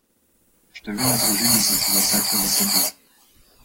Številne družine so se zatekle v Kabul.